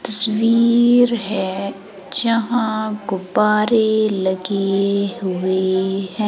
तस्वीर है जहां गुब्बारे लगे हुए हैं।